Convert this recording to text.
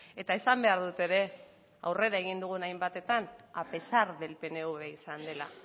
eta esan behar dut ere aurrera egin dugun hainbatetan a pesar del pnv izan dela